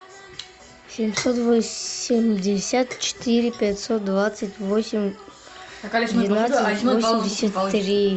семьсот восемьдесят четыре пятьсот двадцать восемь двенадцать восемьдесят три